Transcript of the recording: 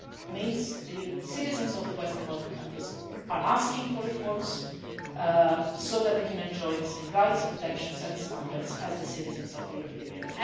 means the citizens of the Western Balkan countries are asking for reforms so that they can enjoy the same rights, protections and standards as the citizens of the European Union.